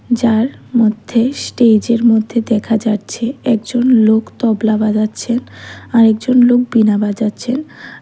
যার মধ্যে স্টেজের মধ্যে দেখা যাচ্ছে একজন লোক তবলা বাজাচ্ছেন আর একজন লোক বীণা বাজাচ্ছেন।